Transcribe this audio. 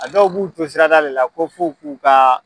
A dɔw b'u to sirada de la ko f'u k'u ka.